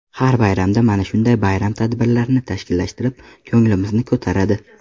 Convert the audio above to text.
Har bayramda mana shunday bayram tadbirlarini tashkillashtirib, ko‘nglimizni ko‘taradi.